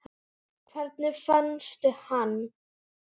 Hvernig fannstu hann?